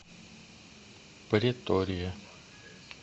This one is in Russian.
претория